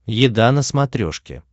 еда на смотрешке